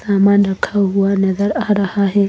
सामान रखा हुआ नजर आ रहा है।